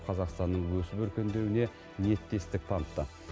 қазақстанның өсіп өркендеуіне ниеттестік танытты